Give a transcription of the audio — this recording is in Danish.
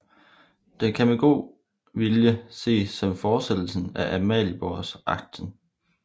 Den kan med lidt god vilje ses som fortsættelsen af Amalienborgaksen